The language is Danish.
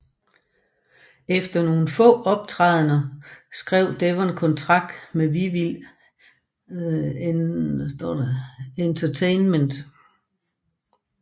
Efter nogle få optrædener skrev Devon kontrakt med Vivid Entertainment